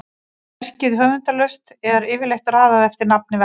sé verkið höfundarlaust er yfirleitt raðað eftir nafni verksins